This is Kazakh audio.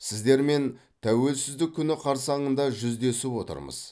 сіздермен тәуелсіздік күні қарсаңында жүздесіп отырмыз